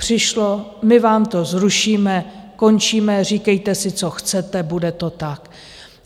Přišlo: my vám to zrušíme, končíme, říkejte si, co chcete, bude to tak!